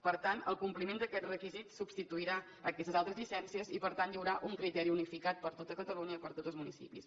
per tant el compliment d’aquest requisit substituirà aquestes altres llicències i per tant hi haurà un criteri unificat per tot catalunya i per a tots els municipis